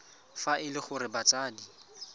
fa e le gore batsadi